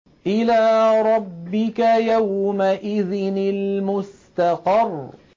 إِلَىٰ رَبِّكَ يَوْمَئِذٍ الْمُسْتَقَرُّ